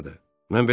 Yer haradır?